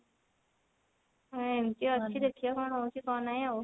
ଅ ଏମତି ଅଛି ଦେଖିବା କଣ ହଉଛି କଣ ନାଇଁ ଆଉ।